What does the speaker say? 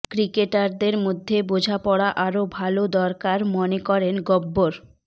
ক্রিকেটারদের মধ্যে বোঝাপড়া আরও ভালো দরকার মনে করেন গব্বর